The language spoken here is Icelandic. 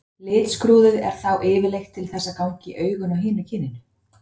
Litskrúðið er þá yfirleitt til þess að ganga í augun á hinu kyninu.